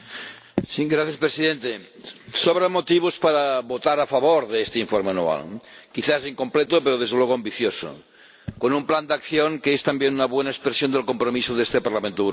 Señor Presidente, sobran motivos para votar a favor de este Informe anual, quizás incompleto pero, desde luego, ambicioso, con un plan de acción que es también una buena expresión del compromiso de este Parlamento Europeo.